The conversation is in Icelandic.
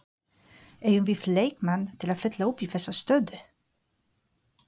Eigum við leikmann til að fylla upp í þessa stöðu?